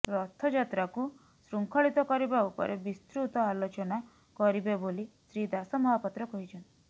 ରଥଯାତ୍ରାକୁ ଶୃଙ୍ଖଳିତ କରିବା ଉପରେ ବିସ୍ତୃତ ଆଲୋଚନା କରିବେବୋଲି ଶ୍ରୀ ଦାସମହାପାତ୍ର କହିଛନ୍ତି